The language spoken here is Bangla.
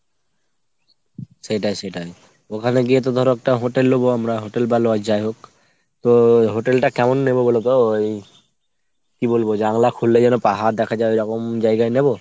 সেইটাই সেইটাই। ওখানে গিয়ে তো ধরো একটা hotel নেবো আমরা hotel বা lodge যাই হোক। তো hotel টা কেমন নেবো বলোতো ওই কি বলবো জানলা খুললে যেন পাহাড় দেখা যায় ওইরকম জায়গায় নেব ?